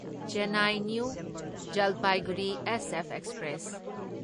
Chennai new Jalpaiguri SF express